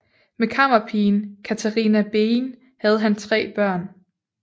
Med kammerpigen Catharina Bein havde han tre børn